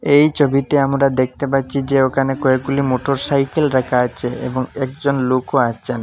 এই ছবিতে আমরা দেখতে পাচ্ছি যে ওখানে কয়েকগুলি মোটরসাইকেল রাখা আছে এবং একজন লোকও আছেন।